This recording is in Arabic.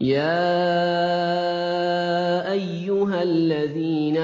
يَا أَيُّهَا الَّذِينَ